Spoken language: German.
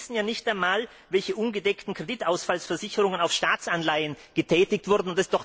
Wir wissen ja noch nicht einmal, welche ungedeckten Kreditausfallversicherungen auf Staatsanleihen getätigt wurden.